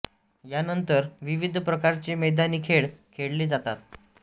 या नंतर विविध प्रकारचे मैदानी खेळ खेळले जातात